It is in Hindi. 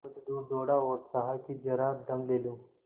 कुछ दूर दौड़ा और चाहा कि जरा दम ले लूँ